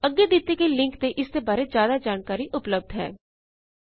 ਅੱਗੇ ਦਿੱਤੇ ਗਏ ਲਿੰਕ ਤੇ ਇਸਦੀ ਬਾਰੇ ਜ਼ਿਆਦਾ ਜਾਣਕਾਰੀ ਉਪਲਬਧ ਹੈ httpspoken tutorialorgNMEICT Intro